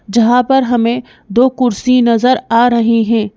जहां पर हमें दो कुर्सी नजर आ रही हैं।